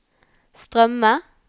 strømme